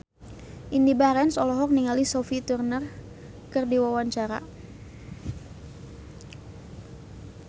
Indy Barens olohok ningali Sophie Turner keur diwawancara